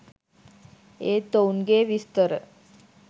ඒත් ඔවුන්ගේ විස්තර